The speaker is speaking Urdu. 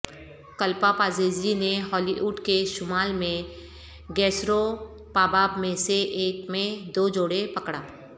کلپاپازیزی نے ہالی ووڈ کے شمال میں گیسروپاباب میں سے ایک میں دو جوڑے پکڑا